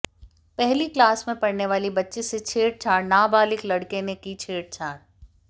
पहली क्लास में पढ़नेवाली बच्ची से छेड़छाड़ नाबालिग लड़के ने की छेड़छाड़